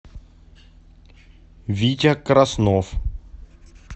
витя краснов